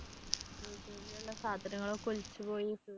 സാധനങ്ങളൊക്കെ ഒലിച്ചു പോയി